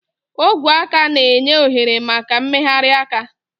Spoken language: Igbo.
Ogwe aka na-enye ohere maka mmegharị aka.